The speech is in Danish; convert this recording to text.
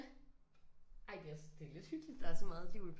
Ja ej det er også det er lidt hyggeligt der er så meget liv i